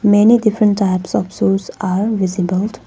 Many different types of shoes are visibled .